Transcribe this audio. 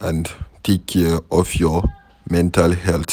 and take care of your mental health